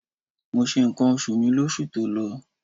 Mo se ǹkan oṣù mi lóṣù tó lọ.